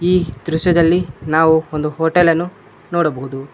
ಈ ದೃಶ್ಯದಲ್ಲಿ ನಾವು ಒಂದು ಹೋಟೆಲ್ಲನ್ನು ನೋಡಬಹುದು.